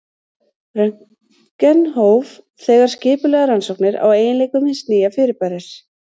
Röntgen hóf þegar skipulegar rannsóknir á eiginleikum hins nýja fyrirbæris.